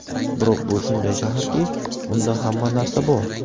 Biroq bu shunday shaharki, unda hamma narsa bor!